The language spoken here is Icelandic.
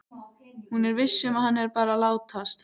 Hún er viss um að hann er bara að látast.